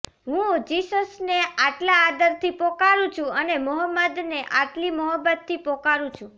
હું જિસસને આટલા આદરથી પોકારું છું અને મોહમ્મદને આટલી મહોબ્બતથી પોકારું છું